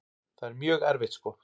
Það er mjög erfitt sko.